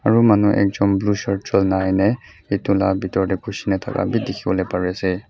aro manu ekchon blue shirt cholna aina eto la betor teh kushina taka beh tekiboli pare ase.